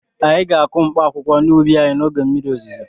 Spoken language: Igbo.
Anyị ga-akụ mkpaakwụkwọ n'ubi anyị n'oge mmiri ozuzo.